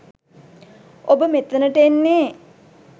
ඔබ මෙතනට එන්නේ